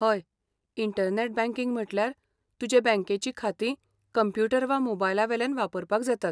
हय, internet banking म्हटल्यार तुजे बँकेची खातीं कंप्युटर वा मोबायलावेल्यान वापरपाक जातात.